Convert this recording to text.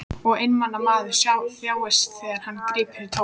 Og einmana maður þjáist þegar hann grípur í tómt.